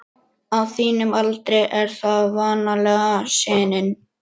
Hann var við nám þar ytra en lauk því ekki.